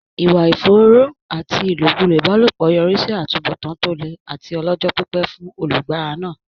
Ìwà ìfòòró àti ìlòkulò ìbálòpọ̀ yọrí sí àtúbọ̀tán tó le àti ọlọ́jọ́-pípẹ́ fún olùfaragbá náà.